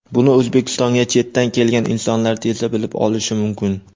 Buni O‘zbekistonga chetdan kelgan insonlar tezda bilib olishi mumkin.